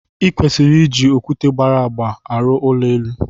I kwesịrị iji okwute gbara agba arụ ụlọ elu.